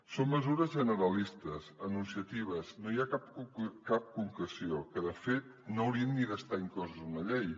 són mesures generalistes enunciatives no hi ha cap concreció que de fet no haurien ni d’estar incloses en una llei